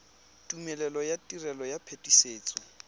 tumelelo ya tiro ya phetisetso